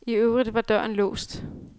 I øvrigt var døren låst.